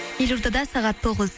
елордада сағат тоғыз